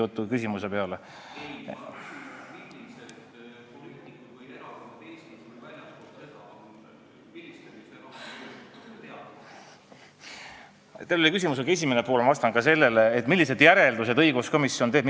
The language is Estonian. Teie küsimusel oli ka esimene pool, et millised järeldused, millised ettepanekud õiguskomisjon teeb.